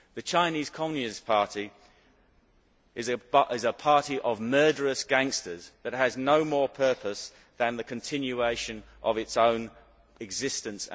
The Chinese Communist Party is a party of murderous gangsters that has no more purpose than the continuation of its own existence.